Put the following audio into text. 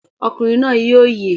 Ọkùnrin náà yóò yè!